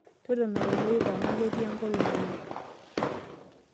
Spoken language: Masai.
Totona toloip ama ketii enkolong' oleng'.